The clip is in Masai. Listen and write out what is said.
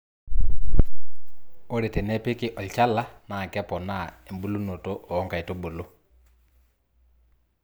ore tenepiki olchala naa keponaa ebulunoto o nkaitubulu